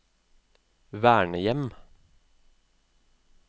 vernehjem